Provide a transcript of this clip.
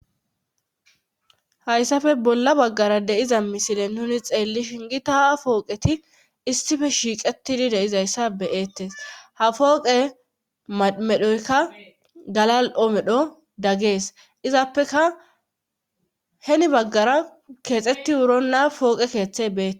hayssafe bolla baggara deiza misile nuni xeelli shingita pooqeti issife shiiqetidi deizayssa beyettes ha fooqe madmedhoyka galal7omedho daggees izappeka heni baggara keexetti wurona pooqe keeththe beee